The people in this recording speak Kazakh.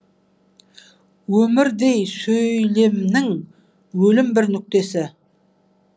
өмірдей сөйлемнің өлім бір нүктесі